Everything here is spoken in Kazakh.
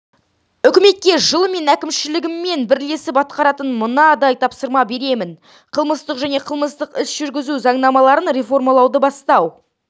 үкіметке жылы менің әкімшілігіммен бірлесіп атқаратын мынадай тапсырма беремін қылмыстық және қылмыстық-іс жүргізу заңнамаларын реформалауды бастау